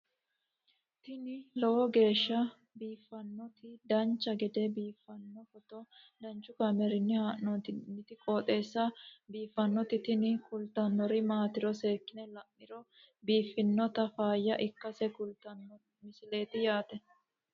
tini lowo geeshsha biiffannoti dancha gede biiffanno footo danchu kaameerinni haa'noonniti qooxeessa biiffannoti tini kultannori maatiro seekkine la'niro biiffannota faayya ikkase kultannoke misileeti yaate